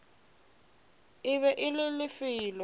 e be e le lefelo